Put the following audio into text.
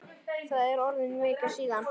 Það er orðin vika síðan.